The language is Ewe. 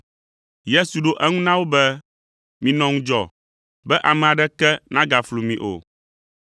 Yesu ɖo eŋu na wo be, “Minɔ ŋudzɔ, be ame aɖeke nagaflu mi o,